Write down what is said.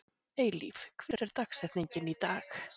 Eilíf, hver er dagsetningin í dag?